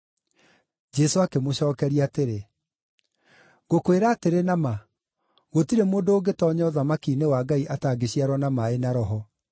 Jesũ akĩmũcookeria atĩrĩ, “Ngũkwĩra atĩrĩ na ma, gũtirĩ mũndũ ũngĩtoonya ũthamaki-inĩ wa Ngai atangĩciarwo na maaĩ na Roho.